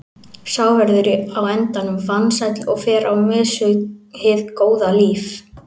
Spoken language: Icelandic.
Sá verður á endanum vansæll og fer á mis við hið góða líf.